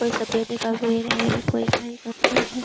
कोई सफेदी का पेर है कोई कही का पेड़ है।